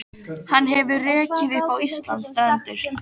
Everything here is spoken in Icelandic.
Og hann hefur rekið upp á Íslands strendur.